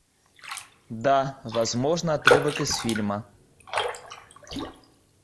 да возможно отрывок из фильма